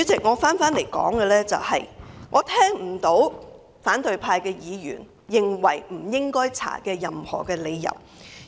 我不能認同反對派議員所提出不應該調查的任何理由。